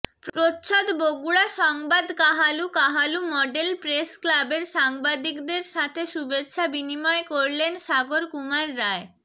প্রচ্ছদ বগুড়া সংবাদ কাহালু কাহালু মডেল প্রেসক্লাবের সাংবাদিকদের সাথে শুভেচ্ছা বিনিময় করলেন সাগর কুমার রায়